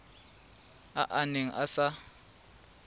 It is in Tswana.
a a neng a sa